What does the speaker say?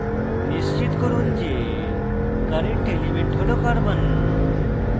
নিশ্চিত করুন যে current element হল carbon c